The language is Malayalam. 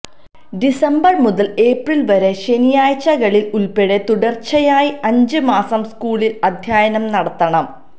ഡിസംബർ മുതൽ ഏപ്രിൽ വരെ ശനിയാഴ്ചകളിൽ ഉൾപ്പെടെ തുടർച്ചയായി അഞ്ച് മാസം സ്കൂളിൽ അധ്യായനം നടത്തണം